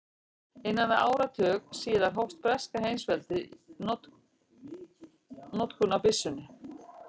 Innan við áratug síðar hóf breska heimsveldið notkun á byssunni.